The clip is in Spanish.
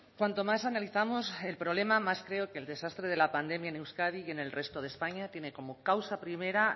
cuanto más analizamos el problema más creo que el desastre de la pandemia en euskadi y en el resto de españa tiene como causa primera